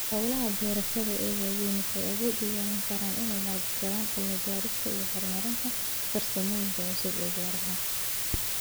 Hawlaha beerashada ee waaweyn waxay awood u yeelan karaan inay maalgashadaan cilmi-baarista iyo horumarinta farsamooyinka cusub ee beeraha.